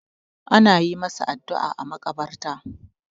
ana yi masa addu'a a makabarta